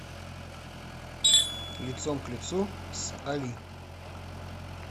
лицом к лицу с али